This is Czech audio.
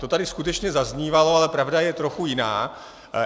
To tady skutečně zaznívalo, ale pravda je trochu jiná.